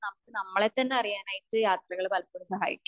നമുക്ക് നമ്മളെ തന്നെ അറിയാനായിട്ട് യാത്രകൾ പലപ്പോഴും സഹായിക്കും